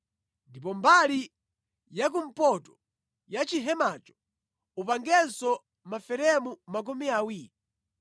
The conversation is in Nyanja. Ndipo mbali yakumpoto ya chihemacho upangenso maferemu makumi awiri.